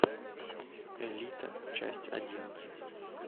элита часть одиннадцать